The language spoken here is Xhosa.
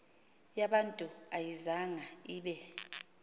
yabantu ayizanga ibe